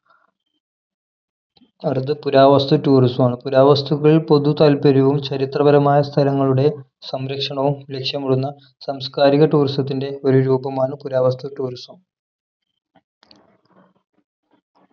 അടുത്തത് പുരാവസ്തു tourism ആണ് പുരാവസ്തുക്കളിൽ പൊതുതാൽപര്യവും ചരിത്രപരമായ സ്ഥലങ്ങളുടെ സംരക്ഷണവും ലക്ഷ്യമിടുന്ന സാംസ്കാരിക tourism ത്തിന്റെ ഒരു രൂപമാണ് പുരാവസ്തു tourism